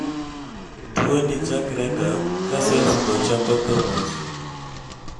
tuwoni chakrega ka cells go chako tho mos